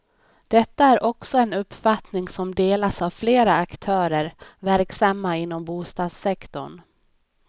Detta är också en uppfattning som delas av flera aktörer verksamma inom bostadssektorn.